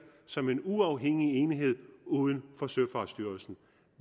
som en uafhængig enhed uden for søfartsstyrelsen